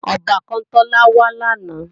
Ọbàkan Tọ́lá wá làná